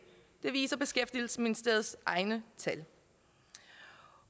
det viser beskæftigelsesministeriets egne tal